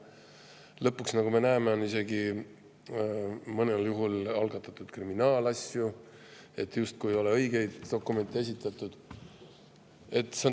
Lõpuks, nagu me näeme, on mõnel juhul algatatud isegi kriminaalasju, sest justkui ei ole õigeid dokumente esitatud.